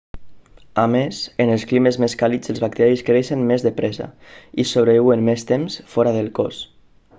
a més en els climes més càlids els bacteris creixen més de pressa i sobreviuen més temps fora del cos